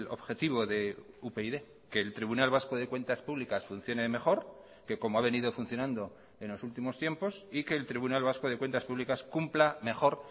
objetivo de upyd que el tribunal vasco de cuentas públicas funcione mejor que como ha venido funcionando en los últimos tiempos y que el tribunal vasco de cuentas públicas cumpla mejor